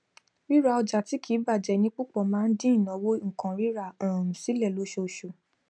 ríra ọjà tí kì í bàjẹ ní púpọ máa ń dín ìnáwó nǹkan rírà um sílé lóṣooṣù